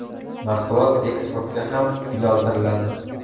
Mahsulot eksportga ham yo‘naltiriladi.